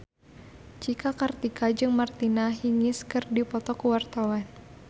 Cika Kartika jeung Martina Hingis keur dipoto ku wartawan